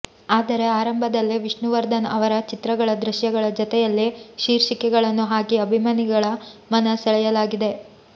ಆದರೆ ಆರಂಭದಲ್ಲೇ ವಿಷ್ಣುವರ್ಧನ್ ಅವರ ಚಿತ್ರಗಳ ದೃಶ್ಯಗಳ ಜತೆಯಲ್ಲೇ ಶೀರ್ಷಿಕೆಗಳನ್ನು ಹಾಕಿ ಅಭಿಮಾನಿಗಳ ಮನ ಸೆಳೆಯಲಾಗಿದೆ